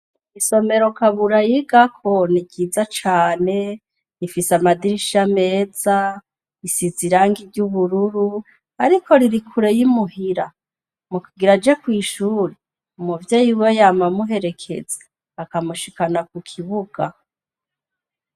Isomero kabura yigako niryiza cane, rifis'amadirisha meza, risize irangi ry'ubururu, ariko riri kure y'imuhira, mukugir'aje kw'ishure umuvyeyi wiwe yama amuherekeza, akamushikana kukibuga.